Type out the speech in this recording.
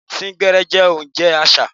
Sín gbẹ́ẹ́rẹ́ jẹ́ ojúṣe àṣà.